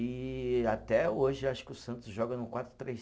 E até hoje eu acho que o Santos joga no quatro, três